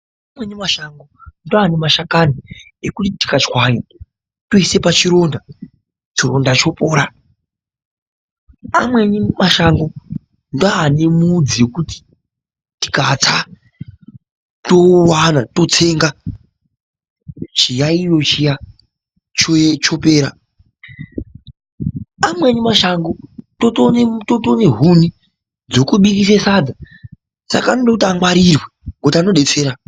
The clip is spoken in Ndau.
Amweni mashango ndoane mashakani ekuti tikatshwanya toise pachironda, chironda chopora, amweni mashango ndoane mudzi ekuti tikatsa touwana totsenga chiyayiyo chiya chopera, amweni mashango totore huni dzekubikise sadza ,saka anode kuti angwarirwe ngekuti anodetsera.